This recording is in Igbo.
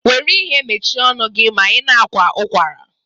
Were ihe mechie ọnụ gi ma i na-akwa ụkwara.